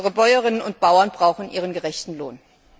Unsere Bäuerinnen und Bauern brauchen ihren gerechten Lohn.